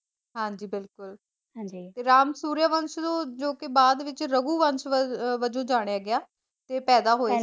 ਹਾਂਜੀ ਬਿਲਕੁਲ ਰਾਮ ਸੁਰਯਾਵੰਸ਼ ਨੂੰ ਜੋਕਿ ਬਾਅਦ ਵਿੱਚ ਰਗੂਵੰਸ਼ ਅਹ ਵਜੋਂ ਜਾਣਿਆ ਗਿਆ ਪੈਦਾ ਹੋਏ ਸੀਗੇ।